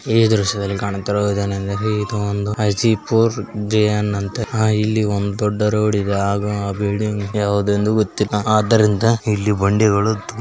ಈ ದೃಶ್ಯದಲ್ಲಿ ಕಾಣುತ್ತಿರುವುದು ಏನೆಂದರೆ ಇದು ಒಂದು ಹಾಜಿಫೋರ್ ಜೆ.ಎನ್ ಅಂತೆ ಇಲ್ಲಿ ಒಂದು ದೊಡ್ಡ ರೋಡಿದೆ ಹಾಗೂ ಬಿಲ್ಡಿಂಗ್ ಯಾವುದೆಂದು ಗೊತ್ತಿಲ್ಲ ಆದ್ದರಿಂದ ಇಲ್ಲಿ ಬಂಡಿಗಳು --